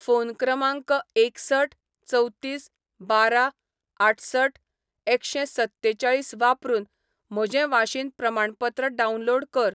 Phone क्रमांक एकसठ चवतीस बारा आठसठ एकशें सत्तेचाळीस वापरून म्हजें वाशीन प्रमाणपत्र डावनलोड कर.